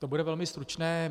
To bude velmi stručné.